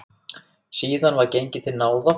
Síðan var gengið til náða.